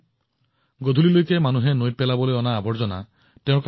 সন্ধিয়ালৈ তেওঁৰ ওচৰত মানুহে নদীত পেলাই দিবলৈ অনা বস্তুৰ দম গোট খাই পৰে